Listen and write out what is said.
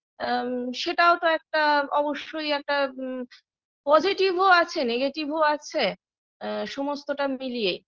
আ সেটাও তো একটা অবশ্যই একটা আ positive -ও আছে negative -ও আছে আ সমস্তটা মিলিয়ে